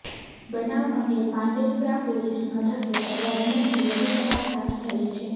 બનાવ અંગે પાંડેસરા પોલીસ મથકે ફરિયાદ નોંધી વધુ તપાસ હાથ ધરી છે